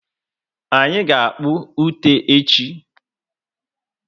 Anyị ga-akpà ute echi